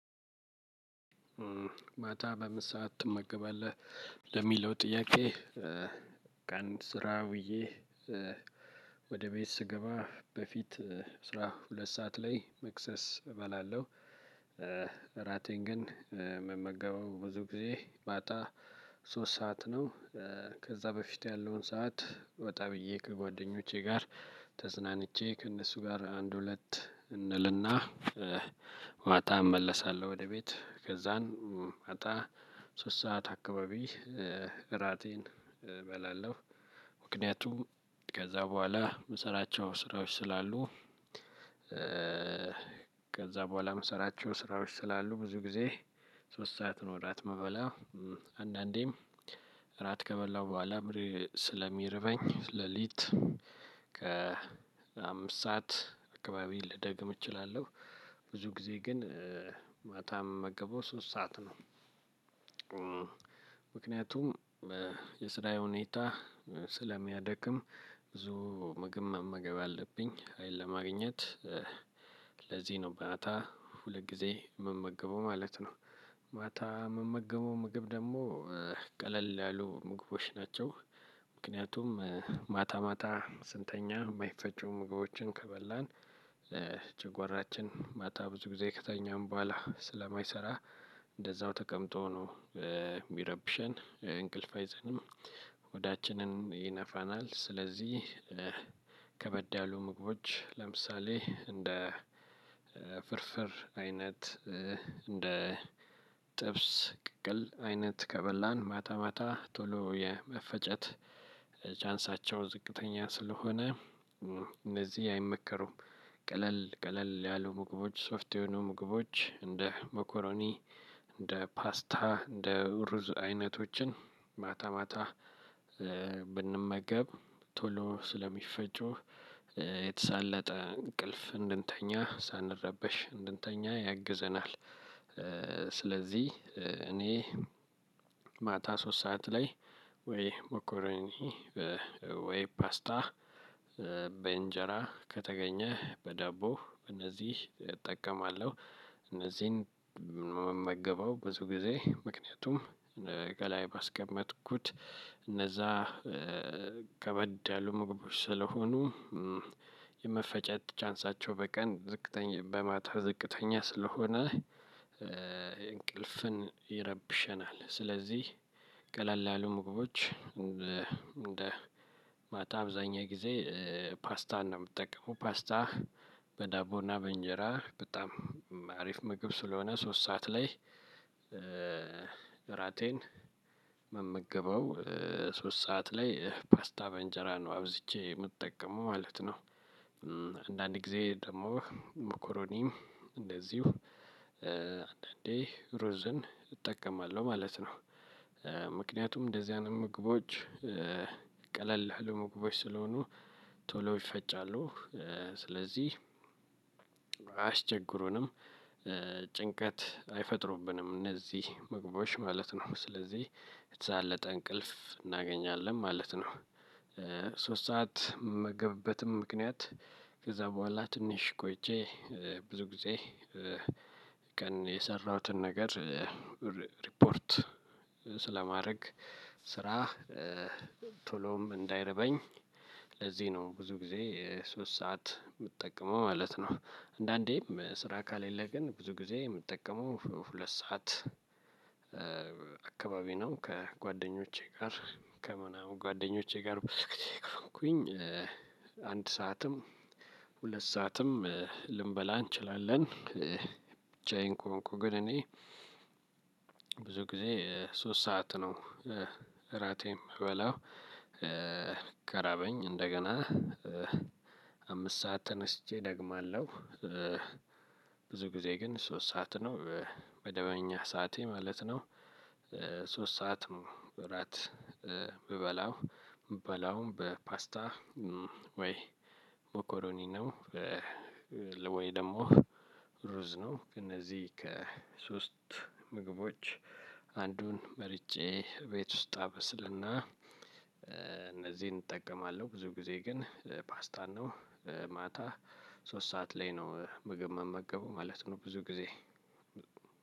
ማታ በምን ሰዓት ትመገባለህ? ለሚለው ጥያቄ ቀን ስራ ውዬ ወደ ቤት ስገባ በፊት አስራ ሁለት ሰዓት ላይ መክሰስ እበላለሁ። እራቴን ግን የምመገበው ብዙ ጊዜ ማታ ሶስት ሰዓት ነው። ከዛ በፊት ያለውን ሰዓት ወጣ ብዬ ከጓደኞቼ ጋር ተዝናንቼ ከእነሱ ጋር አንድ ሁለት እንልና ማታ እመለሳለሁ ወደ ቤት ከዛ ማታ ሶስት ሰዓት አካባቢ እራቴን እበላለሁ። ምክንያቱም ከዛ በኋላ የምሰራቸው ስራዎች ስላሉ ከዛ በኋላ የምሰራቸው ስራዎች ስላሉ ብዙ ጊዜ ሶስት ሰዓት ነው እራት እምበላ አንዳንዴም እራት ከበላሁ በኋላ ስለሚርበኝ ሌሊት አምስት ሰዓት አካባቢ ልደግም እችላለሁ። ብዙ ጊዜ ግን ማታ እምመገበው ሶስት ሰዓት ነው። ምክንያቱም የስራየ ሁኔታ ስለሚያደክም ብዙ ምግብ መመገብ አለብኝ። ሀይል ለማግኘት ለዚህ ነው ማታ ሁለት ጊዜ እምመገበው ማለት ነው። ማታ እምመገበው ምግብ ደግሞ ቀለል ያሉ ምግቦች ናቸው። ምክንያቱም ማታ ማታ ስንተኛ የማይፈጩ ምግቦችን ከበላን ጨጓራችን ማታ ብዙ ጊዜ ከተኛን በኋላ ስለማይሰራ እንደዛው ተቀምጦ ነው የሚረብሸን። እንቅልፍ አይዘንም። ሆዳችንን ይነፋናል። ስለዚህ ከበድ ያሉ ምግቦች ለምሳሌ እንደ አይነት እንደ ጥብስ፣ ቅቅል አይነት ከበላን ማታ ማታ ቶሎ የመፈጨት ቻንሳቸው ዝቅተኛ ስለሆነ እነዚህ አይመከሩም። ቀለል ቀለል ያሉ ምግቦች ሶፍት የሆኑ ምግቦች እንደ ሞኮሮኒ፣ እንደ ፓስታ፣ እንደ ሩዝ አይነቶችን ማታ ማታ ብንመገብ ቶሎ ስለሚፈጩ የተሳለጠ እንቅልፍ እንድንተኛ ሳንረበሽ እንድንተኛ ያግዘናል። ስለዚህ እኔ ማታ ሶስት ሰዓት ላይ ሁሌ ሞኮረኒ ወይ ፓስታ በእንጀራ ከተገኘ በዳቦ እነዚህ እጠቀማለሁ። እነዚህን እምመገበው ብዙ ጊዜ ምክንያቱም ከላይ ባስቀመጥኩት እነዛ ከበድ ያሉ ምግቦች ስለሆኑ የመፈጨት ቻንሳቸው በቀን ዝቅተኛ በማታ ዝቅተኛ ስለሆነ እንቅልፍን ይረብሸናል። ስለዚህ ቀለል ያሉ ምግቦች እንደ ማታ አብዛህኛውን ጊዜ ፓስታ ነው የምጠቀመው። ፓስታ በዳቦና በእንጀራ በጣም አሪፍ ምግብ ስለሆነ ሶስት ሰዓት ላይ እራቴን እምመገበው ሶስት ሰዓት ላይ ፓስታ በእንጀራ ነው አብዝቼ የምጠቀመው ማለት ነው። አንዳንድ ጊዜ ደግሞ መኮረኒም እንደዚሁ አንዳንዴ ሩዝን እጠቀማለሁ ማለት ነው። ምክንያቱም እንደዚህ አይነት ምግቦች ቀለል ያሉ ምግቦች ስለሆኑ ቶሎ ይፈጫሉ። ስለዚህ አያስቸግሩንም። ጭንቀት አይፈጥሩብንም። እነዚህ ምግቦች ማለት ነው። ስለዚህ የተሳለጠ እንቅልፍ እናገኛለን ማለት ነው። ሶስት ሰዓት እምመገበትም ምክንያት ከዛ በኋላ ትንሽ ቆይቼ ብዙ ጊዜ ቀን የሰራሁትን ነገር ሪፖርት ስለማደርግ ስራ ቶሎም እንዳይረበኝ ለዚህ ነው ብዙ ጊዜ ሶስት ሰዓት የምጠቀመው ማለት ነው። አንዳንዴም ስራ ከሌለህ ግን ብዙ ጊዜ የምጠቀመው ሁለት ሰዓት አካባቢ ነው። ከጓደኞቼ ጋር ከምናምን ጓደኞቼ ጋር ብዙ ጊዜ ከሆንኩኝ አንድ ሰዓትም ሁለት ሰዓትም ልንበላ እንችላለን። ብቻየን ከሆንኩ ግን እኔ ብዙ ጊዜ ሶስት ሰዓት ነው እራቴን እምበላው። ከራበኝ እንደገና አምስት ሰዓት ተነስቼ እደግማለሁ። ብዙ ጊዜ ግን ሶስት ሰዓት ነው። መደበኛ ሰዓቴ ማለት ነው። ሶስት ሰዓት ነው እራት የምበላው የምበላውም ፓስታ ወይ መኮረኒ ወይ ደግሞ ነው። ከእነዚህ ከሶስት ምግቦች አንዱን መርጬ ቤት ውስጥ አበስልና እነዚህን እጠቀማለሁ። ብዙ ጊዜ ግን ፓስታን ነው። ማታ ሶስት ሰዓት ላይ ነው ምግብ የምመገበው ማለት ነው ብዙ ጊዜ